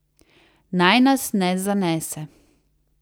Naj nas ne zanese.